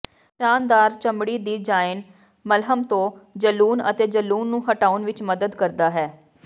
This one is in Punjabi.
ਸ਼ਾਨਦਾਰ ਚਮੜੀ ਦੀ ਜ਼ਾਈਨ ਮੱਲ੍ਹਮ ਤੋਂ ਜਲੂਣ ਅਤੇ ਜਲੂਣ ਨੂੰ ਹਟਾਉਣ ਵਿਚ ਮਦਦ ਕਰਦਾ ਹੈ